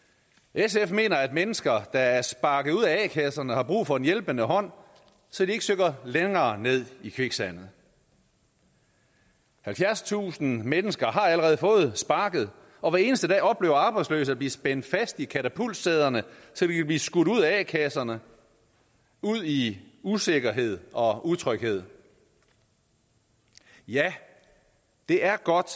sf mener at mennesker der er sparket ud af a kasserne har brug for en hjælpende hånd så de ikke synker længere ned i kviksandet halvfjerdstusind mennesker har allerede fået sparket og hver eneste dag oplever arbejdsløse at blive spændt fast i katapultsæderne så de kan blive skudt ud af a kasserne ud i usikkerhed og utryghed ja det er godt